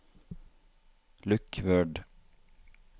lukk Word